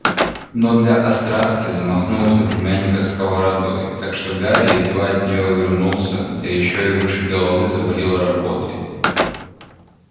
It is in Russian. но для острастки замахнулась на племянника сковородой так что гарри едва от нее увернулся да ещё выше головы завалила работой